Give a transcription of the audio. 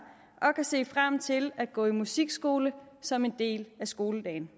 og kan se frem til at gå i musikskole som en del af skoledagen